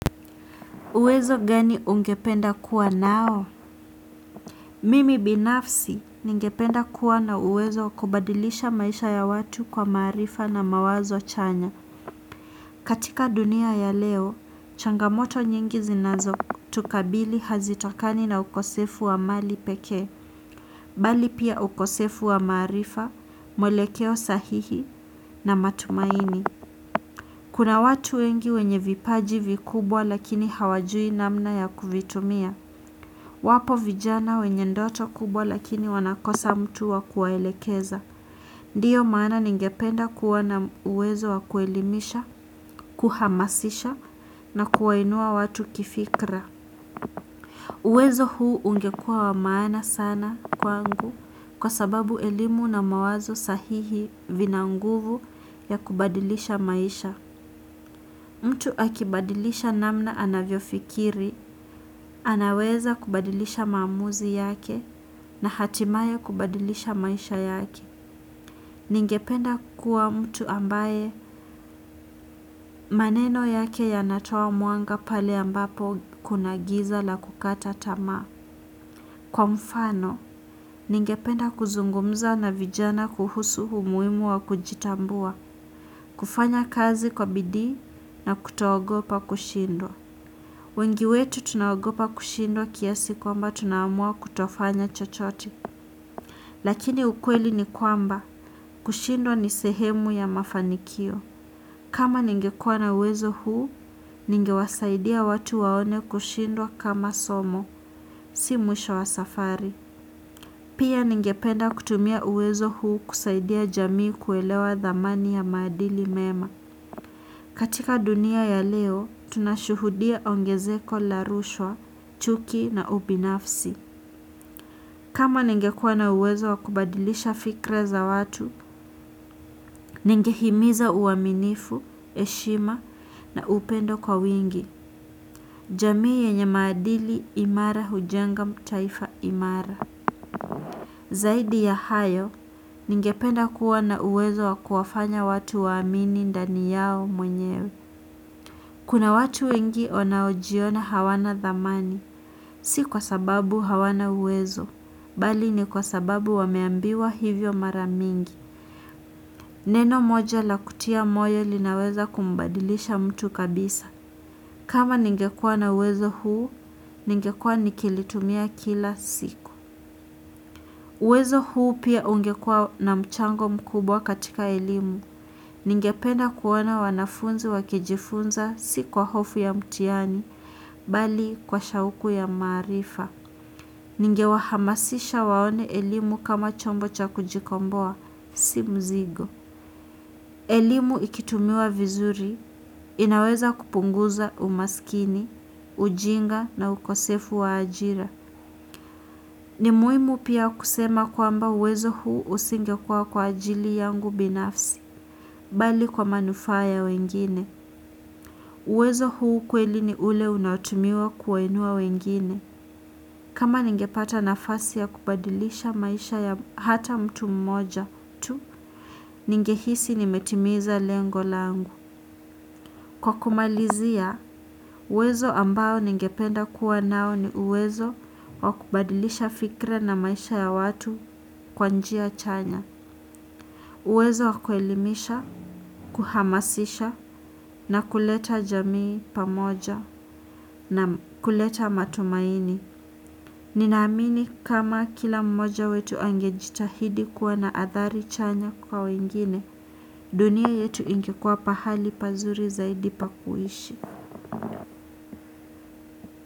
Uwezo gani ungependa kuwa nao? Mimi binafsi ningependa kuwa na uwezo kubadilisha maisha ya watu kwa maarifa na mawazo chanya. Katika dunia ya leo, changamoto nyingi zinazo tukabili hazitokani na ukosefu wa mali pekee. Bali pia ukosefu wa maarifa, mwelekeo sahihi na matumaini. Kuna watu wengi wenye vipaji vikubwa lakini hawajui namna ya kuvitumia. Wapo vijana wenye ndoto kubwa lakini wanakosa mtu wa kuwaelekeza. Ndiyo maana ningependa kuwa na uwezo wa kuelimisha, kuhamasisha na kuwainua watu kifikra. Uwezo huu ungekua wa maana sana kwangu kwa sababu elimu na mawazo sahihi vinanguvu ya kubadilisha maisha. Mtu akibadilisha namna anavyo fikiri, anaweza kubadilisha maamuzi yake na hatimaye kubadilisha maisha yake. Ningependa kua mtu ambaye maneno yake yanatoa mwanga pale ambapo kunagiza la kukata tamaa. Kwa mfano, ningependa kuzungumza na vijana kuhusu umuhimu wa kujitambua, kufanya kazi kwa bidii na kutoogopa kushindwa. Wengi wetu tunaogopa kushindwa kiasi kwamba tunaamua kutofanya chochote lakini ukweli ni kwamba, kushindwa ni sehemu ya mafanikio. Kama ningekuwa na uwezo huu, ningewasaidia watu waone kushindwa kama somo, si mwisho wa safari. Pia ningependa kutumia uwezo huu kusaidia jamii kuelewa dhamani ya maadili mema. Katika dunia ya leo, tunashuhudia ongezeko la rushwa, chuki na ubinafsi. Kama ningekua na uwezo wakubadilisha fikra za watu, ningehimiza uaminifu, heshima na upendo kwa wingi. Jamii yenye maadili imara hujenga taifa imara. Zaidi ya hayo, ningependa kuwa na uwezo wakuwafanya watu wa amini ndani yao mwenyewe. Kuna watu wengi wanaojiona hawana dhamani, si kwa sababu hawana uwezo, bali ni kwa sababu wameambiwa hivyo maramingi. Neno moja la kutia moyo linaweza kumbadilisha mtu kabisa. Kama ningekua na uwezo huu, ningekua nikilitumia kila siku. Uwezo huu pia ungekua na mchango mkubwa katika elimu. Ningependa kuona wanafunzi wakijifunza si kwa hofu ya mtihani, bali kwa shauku ya maarifa. Ningewahamasisha waone elimu kama chombo cha kujikomboa, si mzigo. Elimu ikitumiwa vizuri, inaweza kupunguza umaskini, ujinga na ukosefu wa ajira. Ni muhimu pia kusema kwamba uwezo huu usingekua kwa ajili yangu binafsi, bali kwa manufa ya wengine. Uwezo huu kweli ni ule unaotumiwa kuwainua wengine. Kama ningepata nafasi ya kubadilisha maisha ya hata mtu mmoja tu, ningehisi nimetimiza lengo langu. Kwa kumalizia, uwezo ambao ningependa kuwa nao ni uwezo wa kubadilisha fikra na maisha ya watu kwa njia chanya. Uwezo wa kuelimisha, kuhamasisha na kuleta jamii pamoja na kuleta matumaini. Nina amini kama kila mmoja wetu angejitahidi kuwa na athari chanya kwa wengine, dunia yetu ingekuwa pahali pazuri zaidi pakuishi.